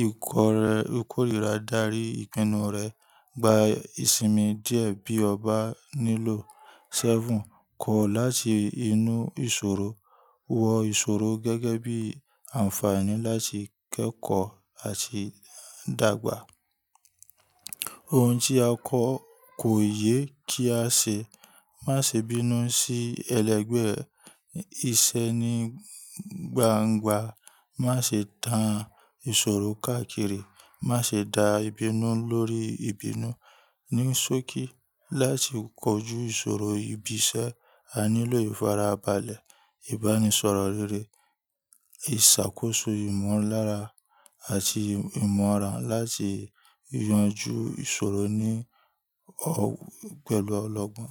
ìkórìíra dárí ìpinnu rẹ, gba ìsinmi díẹ̀ bí o bá nílò. seven, kọ̀ láti inú ìṣòro, wọ ìṣòro gẹ́gẹ́ bí àǹfààní láti kẹ́kọ̀ọ́ àti dàgbà. Ohun tí a kọ́ kò yé kí a ṣe, má ṣe bínú sí ẹlẹgbẹ́ ẹ, ìṣe ni gbangba, má ṣe tàn ìṣòro káàkiri, má ṣe dá ìbínú lórí ìbínú. Ni sóòkì láti kojú ìṣòro ibi iṣẹ́, a nílò ìfarabalẹ̀, ìbánisọ̀rọ̀ rere, ìṣàkóso ìmọ̀lára àti ìmọ̀ràn láti yanjú ìṣòro ní ọ̀ pẹ̀lú ọlọ́gbọ́n.